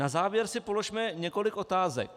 Na závěr si položme několik otázek.